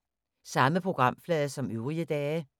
Samme programflade som øvrige dage